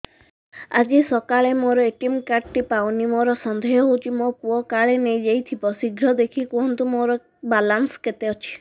ଆଜି ସକାଳେ ମୋର ଏ.ଟି.ଏମ୍ କାର୍ଡ ଟି ପାଉନି ମୋର ସନ୍ଦେହ ହଉଚି ମୋ ପୁଅ କାଳେ ନେଇଯାଇଥିବ ଶୀଘ୍ର ଦେଖି କୁହନ୍ତୁ ମୋର ବାଲାନ୍ସ କେତେ ଅଛି